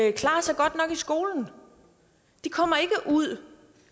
ikke klarer sig godt nok i skolen de kommer ikke ud